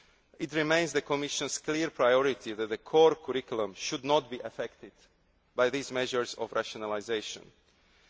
this year. It remains the Commission's clear priority that the core curriculum should not be affected by these rationalisation